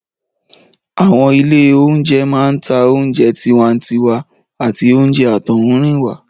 Àwọn ilé oúnjẹ máa ń ta oúnjẹ tiwantiwa àti oúnjẹ àtọ̀húnrìnwá